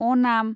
अ'नाम